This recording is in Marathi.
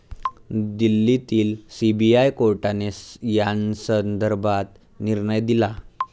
दिल्लीतील सीबीआय कोर्टाने यासंदर्भात निर्णय दिला.